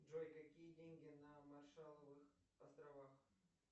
джой какие деньги на маршалловых островах